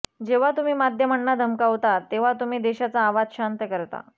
जेव्हा तुम्ही माध्यमांना धमकावता तेव्हा तुम्ही देशाचा आवाज शांत करता